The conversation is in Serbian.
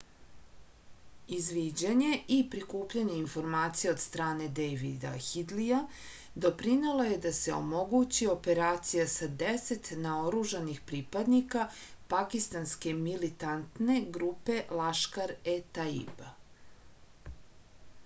izviđanje i prikupljanje informacija od strane dejvida hidlija doprinelo je da se omogući operacija sa 10 naoružanih pripadnika pakistanske militantne grupe laškar-e-taiba